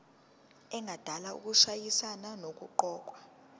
engadala ukushayisana nokuqokwa